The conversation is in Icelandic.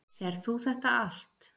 Sérð þú þetta allt?